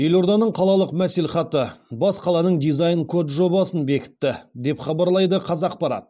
елорданың қалалық мәслихаты бас қаланың дизайн код жобасын бекітті деп хабарлайды қазақпарат